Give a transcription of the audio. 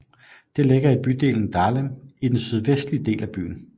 Det ligger i bydelen Dahlem i den sydvestlige del af byen